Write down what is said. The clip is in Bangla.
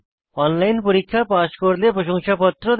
অনলাইন পরীক্ষা পাস করলে প্রশংসাপত্র দেয়